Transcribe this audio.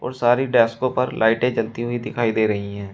और सारी डेस्कों पर लाइटें जलती हुई दिखाई दे रही हैं।